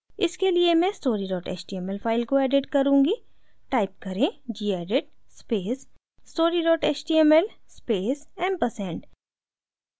इसके लिए मैं story html फ़ाइल को edit करुँगी type करें gedit space story html space ampersand